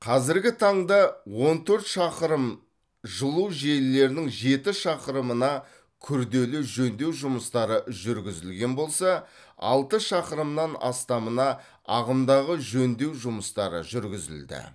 қазіргі таңда он төрт шақырым жылу желілерінің жеті шақырымына күрделі жөндеу жұмыстары жүргізілген болса алты шақырымнан астамына ағымдағы жөндеу жұмыстары жүргізілді